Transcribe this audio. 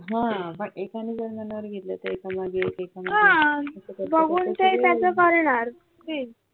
हा पण एकाने मनावर घेतल तर एका मागे एक एका मागे एक